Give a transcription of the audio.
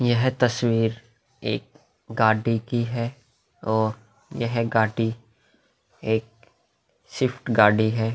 यह तस्वीर एक गाडी की है और यह गाडी एक स्विफ्ट गाडी है।